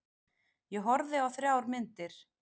Ég horfði á þrjár myndir.